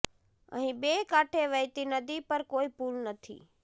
અહી બે કાંઠે વહેતી નદી પર કોઇ પૂલ નથી